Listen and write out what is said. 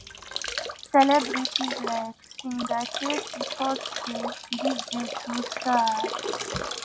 celebrities like singer kcee post say "dis dey too sad."